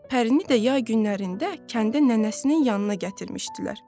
Pərini də yay günlərində kəndə nənəsinin yanına gətirmişdilər.